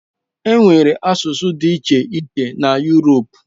Enwere asụsụ dị iche iche na Uropu.